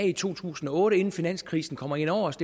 i to tusind og otte inden finanskrisen kom ind over os